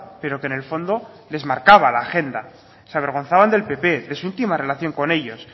pero que en el fondo les marcaba la agenda se avergonzaban del pp de su última relación con ellos